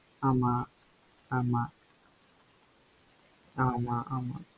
ஆமா ஆமா ஆமா ஆமா